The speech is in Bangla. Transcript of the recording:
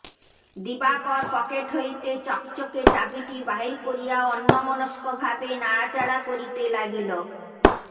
দিবাকর পকেট হইতে চকচকে চাবিটি বাহির করিয়া অন্যমনস্কভাবে নাড়াচাড়া করিতে লাগিল